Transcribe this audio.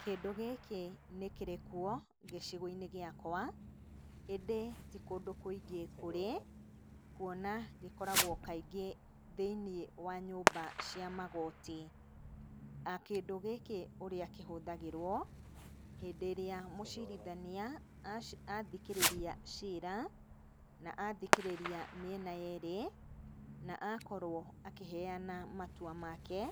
Kĩndũ gĩkĩ nĩ kĩrĩ kuo gĩcigo-inĩ gĩakwa, indĩ ti kũndũ kũingĩ kũrĩ, kuona gĩkoragwo kaingĩ thĩinĩ wa nyũmba cia magooti. Kĩndũ gĩkĩ ũrĩa kĩhũthagĩrwo, hĩndĩ ĩrĩa mũcirithania athikĩrĩria ciira, na athikĩrĩria mĩena yerĩ na akorwo akĩheana matua make,